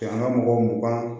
An ka mɔgɔ mugan